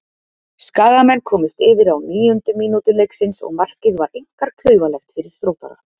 Skagamenn komust yfir á níundu mínútu leiksins og markið var einkar klaufalegt fyrir Þróttara.